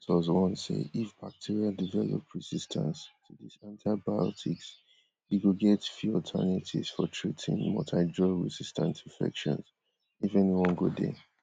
di authors warn say if bacteria develop resistance to dis antibiotics e go get few alternatives for treating multidrugresistant infections if any one go dey